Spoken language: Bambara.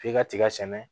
F'i ka tiga sɛnɛ